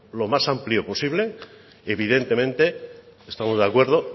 lo más amplio posible y evidentemente estamos de acuerdo